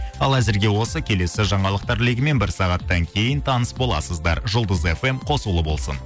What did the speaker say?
ал әзірге осы келесі жаңалықтар легімен бір сағаттан кейін таныс боласыздар жұлдыз фм қосулы болсын